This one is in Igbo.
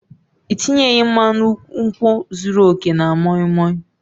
Ị tinyeghi mmanu nkwu zuru oke na moi moi